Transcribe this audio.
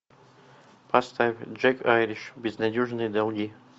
поставь джек айриш безнадежные долги